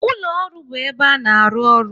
Ụlọ ọrụ bụ ebe a na-arụ ọrụ